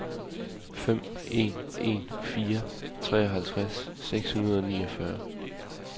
fem en en fire treoghalvtreds seks hundrede og niogfyrre